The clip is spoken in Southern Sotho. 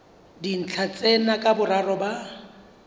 dintlha tsena ka boraro ba